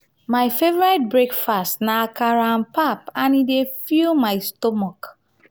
my favorite breakfast na akara and pap e dey fill my stomach.